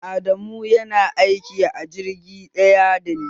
Adamu yana aiki a jirgi ɗaya dani